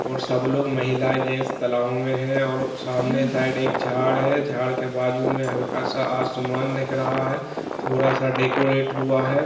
और सब लोग महिलाएं जेंट्स तालाबों में हैं और सामने साइड एक झाड़ हैँ झाड़ के बाजू मे हलका सा आसमान दिख रहा है थोड़ा सा डेकोरेट हुआ है।